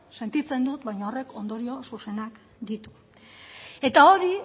sentitzen dut baina horrek ondorio zuzenak ditu eta hori